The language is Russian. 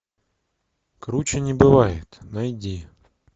круче не бывает найди